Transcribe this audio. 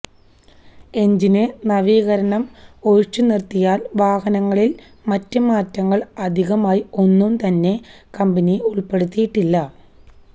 എഞ്ചിന് നവീകരണം ഒഴിച്ചുനിര്ത്തിയാല് വാഹനത്തില് മറ്റ് മാറ്റങ്ങള് അധികമായി ഒന്നും തന്നെ കമ്പനി ഉള്പ്പെടുത്തിയിട്ടില്ല